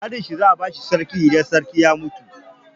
Ƙanin shi za a ba sarki idan sarki ya mutu.